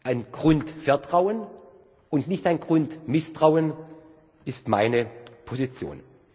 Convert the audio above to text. Ein Grundvertrauen und nicht ein Grundmisstrauen ist meine Position.